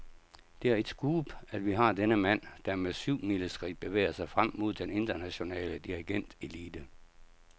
Det er et scoop, at vi har denne mand, der med syvmileskridt bevæger sig frem mod den internationale dirigentelite.